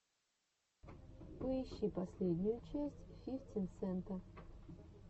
поищи последнюю часть фифтин сента